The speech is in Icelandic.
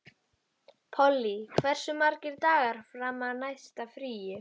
Polly, hversu margir dagar fram að næsta fríi?